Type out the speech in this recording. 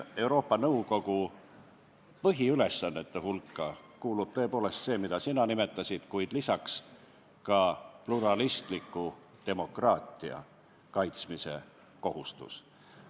Euroopa Nõukogu põhiülesannete hulka kuulub tõepoolest see, mida sina nimetasid, kuid lisaks on tal ka pluralistliku demokraatia kaitsmise kohustus.